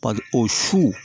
o su